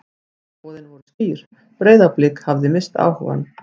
Skilaboðin voru skýr: Breiðablik hafði misst áhugann.